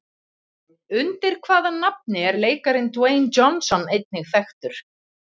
Undir hvaða nafni er leikarinn Dwayne Johnson einnig þekktur?